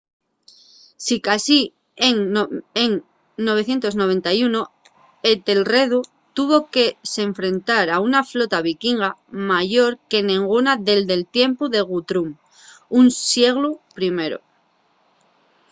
sicasí en 991 etelredu tuvo que s’enfrentar a una flota vikinga mayor que nenguna dende’l tiempu de guthrum un sieglu primero